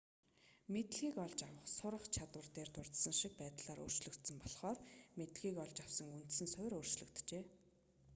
мэдлэгийг олж авах сурах чадвар дээр дурдсан шиг байдлаар өөрчлөгдсөн болохоор мэдлэгийг олж авсан үндсэн суурь өөрчлөгджээ